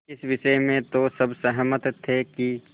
इस विषय में तो सब सहमत थे कि